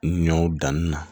Ɲɔw danni na